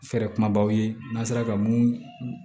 Fɛɛrɛ kumabaw ye n'an sera ka mun